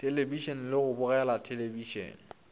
thelebišene le go bogela thelebišene